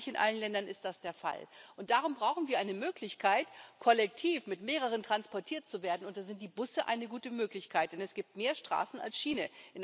Aber lange nicht in allen Ländern ist das der Fall. Darum brauchen wir eine Möglichkeit, kollektiv zu mehreren transportiert zu werden, und da sind die Busse eine gute Möglichkeit, denn es gibt in Europa mehr Straßen als Schiene.